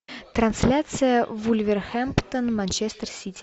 трансляция вулверхэмптон манчестер сити